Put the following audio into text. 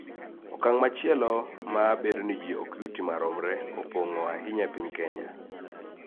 Okang� machielo ma bedo ni ji ok yuti maromre opong�o ahinya e piny Kenya